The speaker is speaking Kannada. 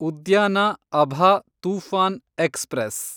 ಉದ್ಯಾನ ಅಭಾ ತೂಫಾನ್ ಎಕ್ಸ್‌ಪ್ರೆಸ್